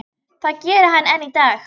Það gerir hann enn í dag.